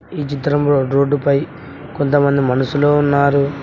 ఈ చిత్రంలో రోడ్డు పై కొంతమంది మనుషులు ఉన్నారు.